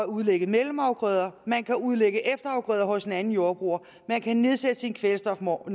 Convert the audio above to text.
udlægge mellemafgrøder man kan udlægge efterafgrøder hos en anden jordbruger man kan nedsætte sin kvælstofnorm